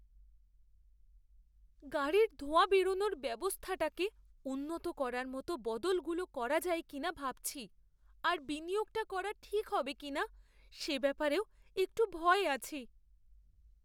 গাড়ির ধোঁয়া বেরনোর ব্যবস্থাটাকে উন্নত করার মতো বদলগুলো করা যায় কিনা ভাবছি, আর বিনিয়োগটা করা ঠিক হবে কিনা সে ব্যাপারেও একটু ভয়ে আছি।